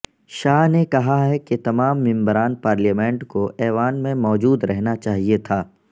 شاہ نے کہا کہ تمام ممبران پارلیمنٹ کو ایوان میں موجود رہنا چاہئے تھا